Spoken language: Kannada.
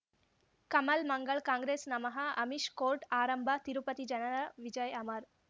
ಕಮಲ್ ಮಂಗಳ್ ಕಾಂಗ್ರೆಸ್ ನಮಃ ಅಮಿಷ್ ಕೋರ್ಟ್ ಆರಂಭ ತಿರುಪತಿ ಜನರ ವಿಜಯ್ ಅಮರ್